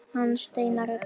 Hann Steinar er dáinn.